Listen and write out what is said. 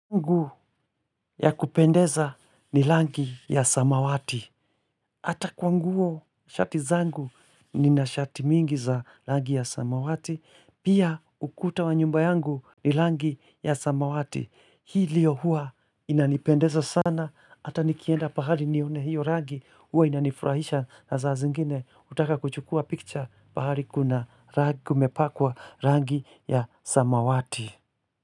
Ungu ya kupendeza ni langi ya samawati. Hata kwa nguo shati zangu ni na shati mingi za rangi ya samawati. Pia ukuta wa nyumba yangu ni langi ya samawati. Hii lio huwa inanipendeza sana. Hata nikienda pahali nione hiyo rangi huwa inanifurahisha na saa zingine utaka kuchukua picture pahali kuna rangi kumepakwa rangi ya samawati.